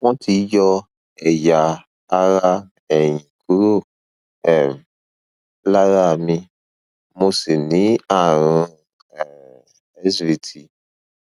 wọn ti yọ ẹyà ara ẹyìn kúrò um lára mi mo sì ní ààrùn um svt